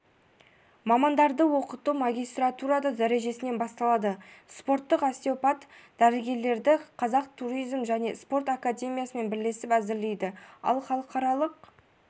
мамандарды оқыту магистратура дәрежесінен басталады спорттық остеопат-дәрігерлерді қазақ туризм және спорт академиясымен бірлесіп әзірлейді ал халықаралық